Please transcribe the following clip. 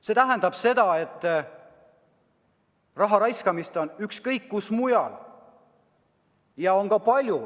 See tähendab seda, et raha raiskamist on igal pool.